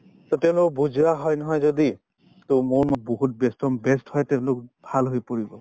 so, তেওঁলোকক বুজোৱা হয় নহয় যদি to বহুত best best হৈ তেওঁলোক ভাল হৈ পৰিব